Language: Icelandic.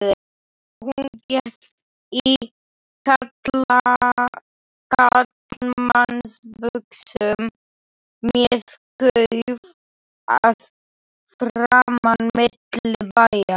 Hún gekk í karlmannsbuxum með klauf að framan milli bæja.